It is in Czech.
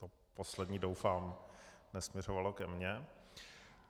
To poslední, doufám, nesměřovalo ke mně.